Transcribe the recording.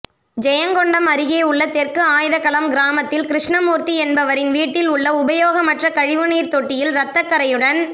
ஜயங்கொண்டம் அருகேயுள்ள தெற்கு ஆயுதகளம் கிராமத்தில் கிருஷ்ணமூா்த்தி என்பவரின் வீட்டில் உள்ள உபயோகமற்ற கழிவுநீா்த் தொட்டியில் ரத்தக்கறையுடன்